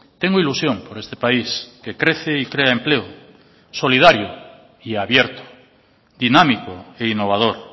tengo ilusión por este país que crece y crea empleo solidario y abierto dinámico e innovador